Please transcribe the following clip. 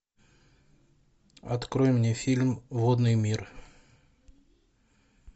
открой мне фильм водный мир